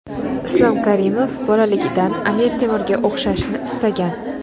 Islom Karimov bolaligidan Amir Temurga o‘xshashni istagan.